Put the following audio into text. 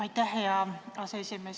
Aitäh, hea aseesimees!